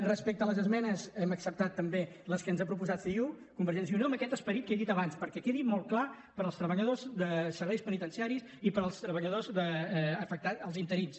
respecte a les esmenes hem acceptat també les que ens ha proposat ciu convergència i unió amb aquest esperit que he dit abans perquè quedi molt clar per als treballadors de serveis penitenciaris i per als treballadors afectats els interins